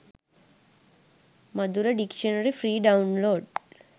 madura dictionary free download